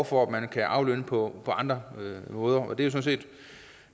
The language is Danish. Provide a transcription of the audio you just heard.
for at man kan aflønne på andre måder